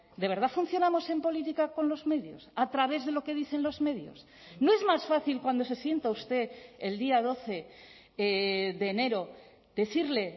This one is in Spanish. de verdad funcionamos en política con los medios a través de lo que dicen los medios no es más fácil cuando se sienta usted el día doce de enero decirle